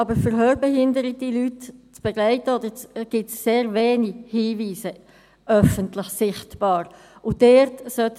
Aber um hörbehinderte Leute zu begleiten, gibt es sehr wenig öffentlich sichtbare Hinweise.